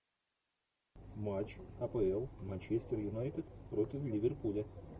матч апл манчестер юнайтед против ливерпуля